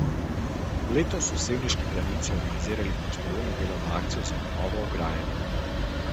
Letos so sevniški planinci organizirali prostovoljno delovno akcijo za obnovo ograje.